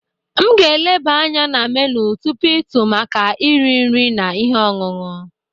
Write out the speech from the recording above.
M ga-eleba anya na menu tupu ịtụ maka eri nri na ihe ọṅụṅụ.